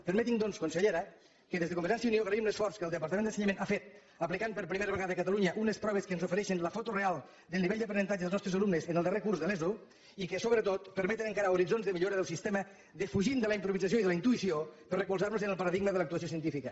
permeti’m doncs consellera que des de convergència i unió agraïm l’esforç que el departament d’ensenyament ha fet aplicant per primera vegada a catalunya unes proves que ens ofereixen la foto real del nivell d’aprenentatge dels nostres alumnes en el darrer curs de l’eso i que sobretot permeten encarar horitzons de millora del sistema defugint de la improvisació i de la intuïció per a recolzar nos en el paradigma de l’actuació científica